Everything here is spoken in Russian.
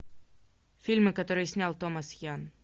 фильмы которые снял томас ян